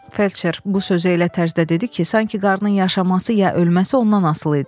Felçer bu sözü elə tərzdə dedi ki, sanki qarnın yaşaması ya ölməsi ondan asılı idi.